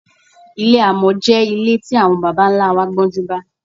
Ilé àmò̩ jé̩ ilé tí àwo̩n baba-ńlá wa gbó̩júnbá.